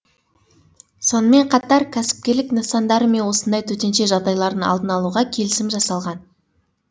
сонымен қатар кәсіпкерлік нысандары мен осындай төтенше жағдайлардың алдын алуға келісім жасалған